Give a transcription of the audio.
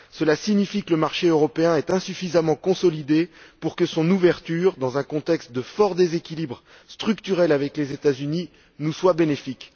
Cela signifie que le marché européen est insuffisamment consolidé pour que son ouverture, dans un contexte de fort déséquilibre structurel avec les États Unis, nous soit bénéfique.